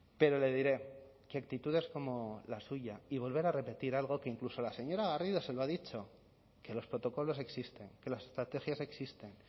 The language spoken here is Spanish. pero le diré que actitudes como la suya y volver a repetir algo que incluso la señora garrido se lo ha dicho que los protocolos existen que las estrategias existen